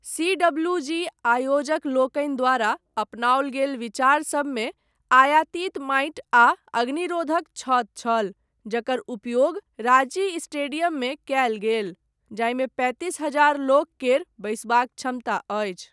CWG आयोजकलोकनि द्वारा अपनाओल गेल विचार सबमे, आयातित माटि आ अग्निरोधक छत छल, जकर उपयोग राञ्ची स्टेडियममे कयल गेल, जाहिमे पैंतीस हजार लोक केर बैसबाक क्षमता अछि।